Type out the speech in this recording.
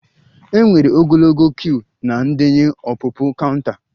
E nwere ogologo queue na ndenye ọpụpụ counter